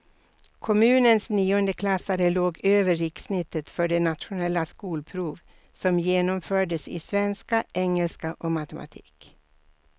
Kommunens niondeklassare låg över rikssnittet för det nationella skolprov som genomfördes i svenska, engelska och matematik.